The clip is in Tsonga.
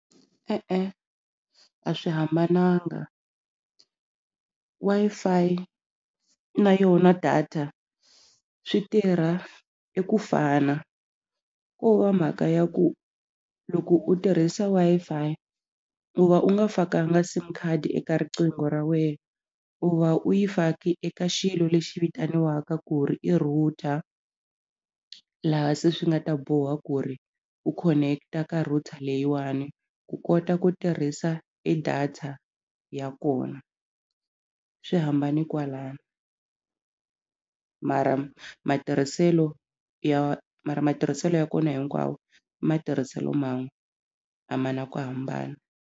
E-e a swi hambananga Wi-Fi na yona data swi tirha i ku fana ko va mhaka ya ku loko u tirhisa Wi-Fi u va u nga fakanga sim card eka riqingho ra wena u va u yi faki eka xilo lexi vitaniwaka ku ri i router laha se swi nga ta boha ku ri u connect-a ka router leyiwani ku kota ku tirhisa e data ya kona swi hambane kwalano mara matirhiselo ya mara matirhiselo ya kona hinkwawo i matirhiselo man'we a ma na ku hambana.